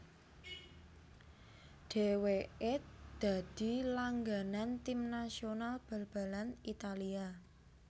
Dèwèké dadi langganan Tim nasional balbalan Italia